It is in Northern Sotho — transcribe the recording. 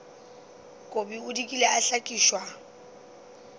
kobi o dikile a hlakišwa